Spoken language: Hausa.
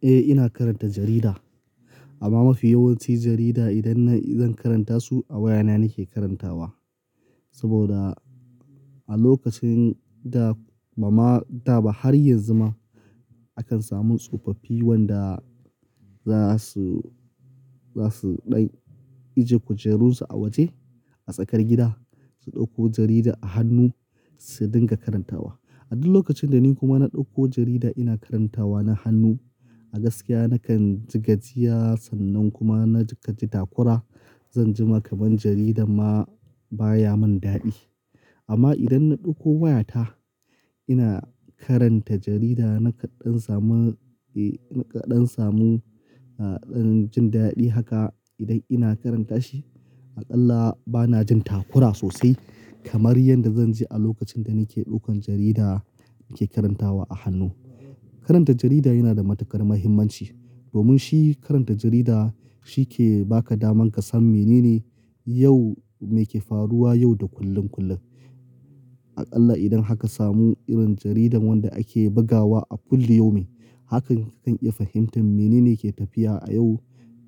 Eh ina karanta jarida amma mafi yawanci jarida idan na, idan karanta su a wayana nake karantawa. Saboda a lokacin da, bamada ba har yanzu ma akan samu tsofaffi wanda za su, za su ɗai ajiye kujerunsu a waje a tsakar gida su ɗauko jarida a hannu su dinga karantawa. A duk lokacin da ni kuma na ɗauko jarida ina karantawa na hannu, a gaskiya nakan ji gajiya sannan kuma na ji kaji takura. Zanjima kaman jarida ma baya mun dadi. Amma idan na ɗauko wayata ina karanta jarida nakan ɗan samu, eh, nakan ɗan samu, ah, ɗan jin dadi haka idan ina karanta shi. A qalla bana jin takura sosai kamar yadda zanji a lokacin da nake ɗaukan jarida nake karantawa a hannu. Karanta jarida yana da matuƙar muhimmanci. Domin shi karanta jarida shi ke baka daman ka san menene yau, meke faruwa yau da kullum kullum. A qalla idan haka samu irin jaridan wanda ake bugawa a kulli yumi, hakan kakan iya fahimtar menene ke tafiya a yau,